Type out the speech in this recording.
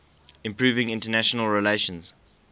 improving international relations